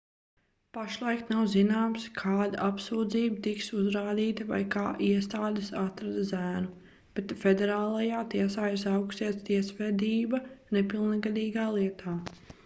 pašlaik nav zināms kāda apsūdzība tiks uzrādīta vai kā iestādes atrada zēnu bet federālajā tiesā ir sākusies tiesvedība nepilngadīgā lietā